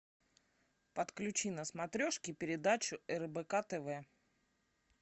подключи на смотрешке передачу рбк тв